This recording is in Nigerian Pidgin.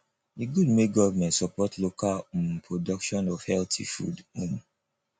e good make government support local um production of healthy food um